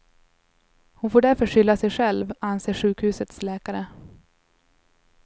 Hon får därför skylla sig själv, anser sjukhusets läkare.